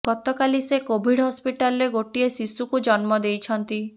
ଗତକାଲି ସେ କୋଭିଡ୍ ହସ୍ପିଟାଲରେ ଗୋଟିଏ ଶିଶୁକୁ ଜନ୍ମ ଦେଇଛନ୍ତି